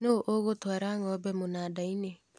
Nũ ũgũtwara ngombe mũnandainĩ